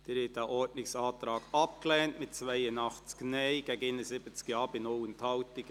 Sie haben diesen Ordnungsantrag abgelehnt, mit 82 Nein- gegen 71 Ja-Stimmen bei 0 Enthaltungen.